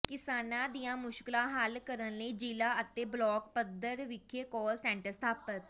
ਕਿਸਾਨਾਂ ਦੀਆਂ ਮੁਸ਼ਕਲਾਂ ਹਲ ਕਰਨ ਲਈ ਜ਼ਿਲ੍ਹਾ ਅਤੇ ਬਲਾਕ ਪੱਧਰ ਵਿਖੇ ਕਾਲ ਸੈਂਟਰ ਸਥਾਪਤ